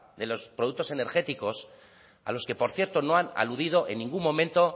de los productos energéticos a los que por cierto no han aludido en ningún momento